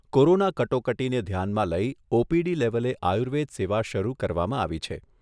Corona કટોકટીને ધ્યાનમાં લઈ ઓપીડી લેવલે આયુર્વેદ સેવા શરૂ કરવામાં આવી છે.